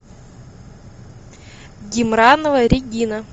гимранова регина